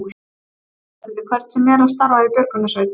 En er það fyrir hvern sem er að starfa í björgunarsveit?